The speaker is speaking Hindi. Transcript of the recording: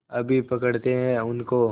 अभी पकड़ते हैं उनको